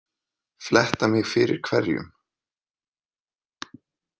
Fletta mig fyrir hverjum?